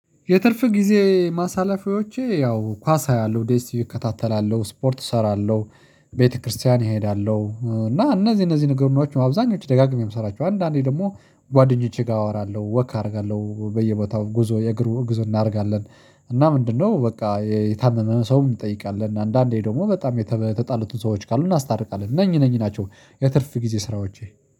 የትርፍ ጊዜ ማሳለፊያዎቼ ያው ኳስ አያለሁ ዴኤስ ቲቪ እከታተላለሁ ስፖርት እሰራለሁ። ቤተክርስቲያን ይሄዳለሁ እና እነዚህ እነዚህ ንገሮችን ነው አብዛኞቹ ደጋግሜ እምሰራቸው። አንዳንዴ ደግሞ ጓደኞቼ ጋር አወራለሁ ወክ አደርጋለሁ በየቦታው ጉዞ የእግሩ ጉዞ እናደርጋለን። እና ምንድነው? በቃ የታመመ ሰውም እንጠይቃለን አንዳንዴ ደግሞ በጣም የተጣሉትን ሰዎች ካሉ እናስታርቃለን እነኝህ እነኝህ ናቸው። የትርፍ ጊዜ ስራዎቼ